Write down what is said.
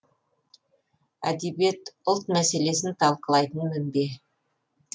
әдебиет ұлт мәселесін талқылайтын мінбе